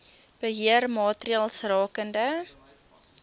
beheer maatreëls rakende